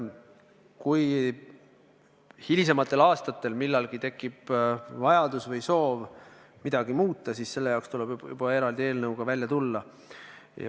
Kui hilisematel aastatel millalgi tekib vajadus või soov midagi muuta, siis tuleb juba eraldi eelnõuga välja tulla.